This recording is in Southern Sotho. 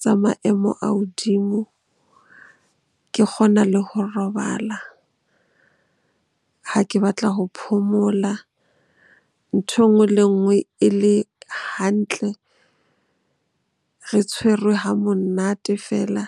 tsa maemo a hodimo. Ke kgona le ho robala ha ke batla ho phomola. Nthwe nngwe le enngwe e le hantle, re tshwerwe ha monate feela.